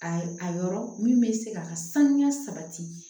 Ayi a yɔrɔ min bɛ se ka sanuya sabati